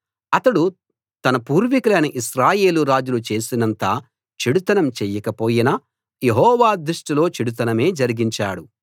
అతడు తన పూర్వికులైన ఇశ్రాయేలు రాజులు చేసినంత చెడుతనం చెయ్యకపోయినా యెహోవా దృష్టిలో చెడుతనమే జరిగించాడు